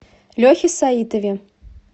лехе саитове